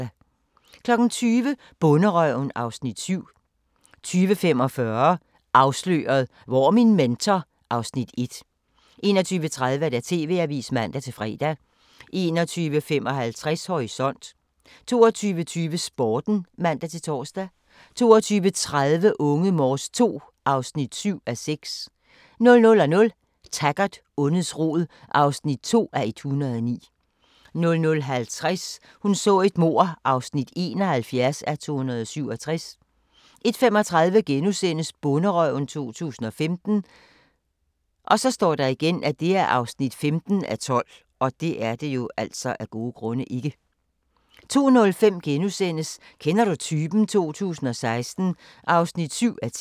20:00: Bonderøven (Afs. 7) 20:45: Afsløret – Hvor er min mentor? (Afs. 1) 21:30: TV-avisen (man-fre) 21:55: Horisont 22:20: Sporten (man-tor) 22:30: Unge Morse II (7:6) 00:00: Taggart: Ondets rod (2:109) 00:50: Hun så et mord (71:267) 01:35: Bonderøven 2015 (15:12)* 02:05: Kender du typen? 2016 (7:10)*